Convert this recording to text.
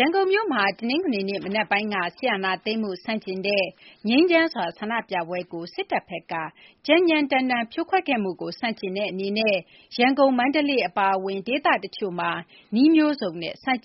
ရန်ကုန်မြို့မှာ တနင်္ဂနွေနေ့ မနက်ပိုင်းက စစ်အာဏာသိမ်းမှု ဆန့်ကျင်တဲ့ ငြိမ်းချမ်းစွာ ဆန္ဒပြပွဲကို စစ်တပ်ဘက်က ကြမ်းကြမ်းတမ်းတမ်း ဖြိုခွဲခဲ့မှုကို ဆန့်ကျင်တဲ့အနေနဲ့ ရန်ကုန်၊ မန္တလေး အပါအဝင် ဒေသတချို့မှာ နည်းမျိုးစုံနဲ့ ဆန္ဒ